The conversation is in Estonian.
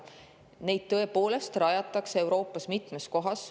Neid tõepoolest rajatakse Euroopas mitmes kohas.